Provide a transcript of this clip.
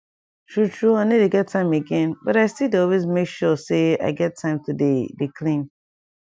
true true i no dey get time again but i still dey always make sure say i get time to dey dey clean